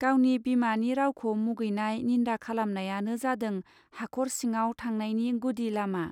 गावनि बिमानि रावखौ मुगैनाय निन्दा खालामनायानो जादों हाखर सिङाव थांनायनि गुदि लामा.